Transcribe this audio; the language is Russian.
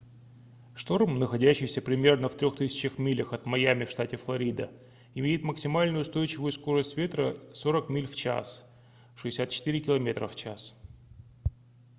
шторм находящийся примерно в 3000 милях от майами в штате флорида имеет максимальную устойчивую скорость ветра 40 миль/ч 64 км/ч